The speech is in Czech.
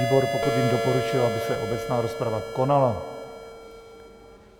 Výbor, pokud vím, doporučil, aby se obecná rozprava konala.